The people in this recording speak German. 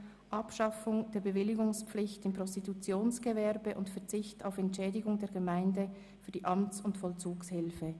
«Abschaffung der Bewilligungspflicht im Prostitutionsgewerbe und Verzicht auf Entschädigung der Gemeinden für die Amts- und Vollzugshilfe».